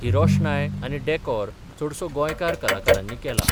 ही रोशनाय आनी डॅकोर चडसो गोंयकार कलाकारांनी केला.